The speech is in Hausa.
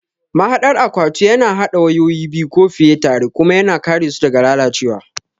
Mahaɗar akwatu yana haɗa wayoyi biyu ko fiye tare kuma yana kare su daga lalacewa.